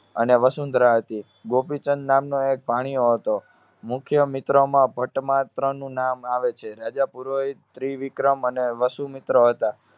અને વસુંધરા હતી. ગોપીચંદ નામનો એક ભાણિયો હતો. મુખ્ય મિત્રમાં ભટ્ટ મા ત્રણનું નામ આવે છે. રાજા પુરોહિત્રિવિક્રમ અને વસુમિત્ર હતા.